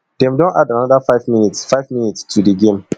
dem don add anoda five minutes five minutes to di game